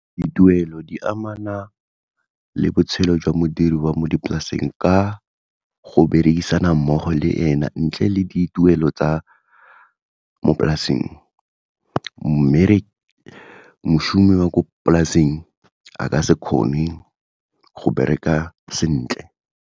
Dituelo di amana le botshelo jwa modiri wa mo dipolaseng ka go berekisana mmogo le ena ntle le dituelo tsa mo polaseng, mošomi wa ko polaseng a ka se kgone go bereka sentle.